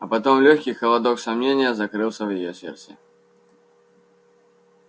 а потом лёгкий холодок сомнения закрылся в её сердце